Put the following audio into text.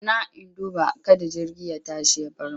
Zauna! in duba kada jirgi ya tashi ya bar mu.